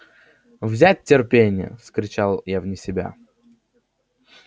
взять терпение вскричал я вне себя